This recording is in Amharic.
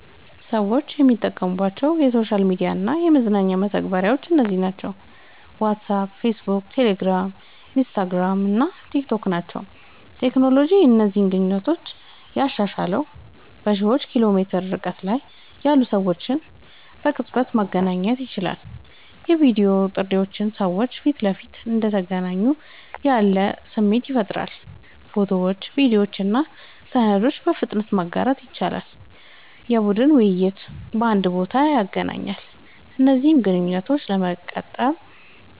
ሰዎች የሚጠቀሙባቸው የሶሻል ሚዲያ እና የመገናኛ መተግበሪያዎች እነዚህ ናቸው፦ ዋትስአፕ፣ ፌስቡክ፣ ቴሌግራም፣ ኢንስታግራም እና ቲክታክ ናቸዉ።.ቴክኖሎጂ እነዚህን ግንኙነቶች ያሻሻለዉ፦ በሺዎች ኪሎ ሜትር ርቀት ላይ ያሉ ሰዎች በቅጽበት መገናኘት ይችላሉ። የቪዲዮ ጥሪዎች ሰዎች ፊት ለፊት እንደተገናኙ ያለ ስሜት ይፈጥራሉ። ፎቶዎችን፣ ቪዲዮዎችን እና ሰነዶችን በፍጥነት ማጋራት ይችላሉ። የቡድን ውይይቶችን በአንድ ቦታ ያገናኛሉ። እነዚህን ግንኙነቶች ለመጠቀም፦